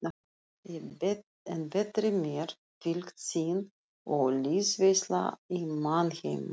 En betri þætti mér fylgd þín og liðveisla í mannheimum.